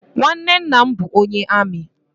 Nwanne nna m bụ onye amị.